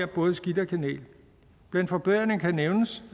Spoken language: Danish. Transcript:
både skidt og kanel blandt forbedringerne kan nævnes